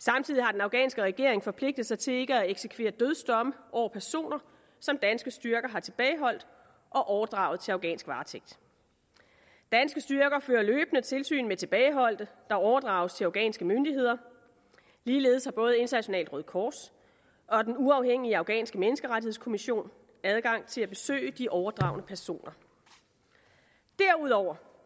samtidig har den afghanske regering forpligtet sig til ikke at eksekvere dødsdomme over personer som danske styrker har tilbageholdt og overdraget til afghansk varetægt danske styrker fører løbende tilsyn med tilbageholdte der overdrages til afghanske myndigheder ligeledes har både internationalt røde kors og den uafhængige afghanske menneskerettighedskommission adgang til at besøge de overdragne personer derudover